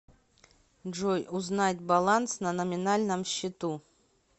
джой узнать баланс на номинальном счету